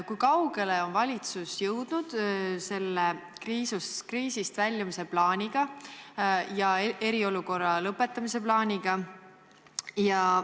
Kui kaugele on valitsus jõudnud kriisist väljumise ja eriolukorra lõpetamise plaaniga?